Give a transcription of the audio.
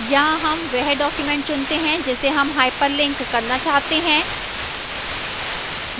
यहां हम वह document चुनते हैं जिसे हम hyperlink करना चाहते हैं